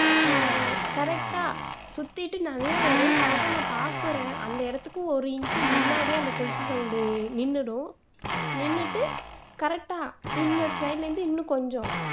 ஹம் correct ஆ சுத்திட்டு நல்லா வரும் correct ஆ நான் பாக்குறேன் அந்த இடத்துக்கு ஒரு inch முன்னாடி அந்த கொலுசு sound நின்னுடும் நின்னுட்டு correct ஆ இருந்து இன்னும் கொஞ்சம்